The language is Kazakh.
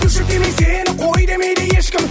бөлшектеймін сені қой демейді ешкім